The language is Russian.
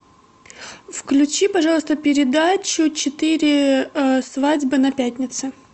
включи пожалуйста передачу четыре свадьбы на пятнице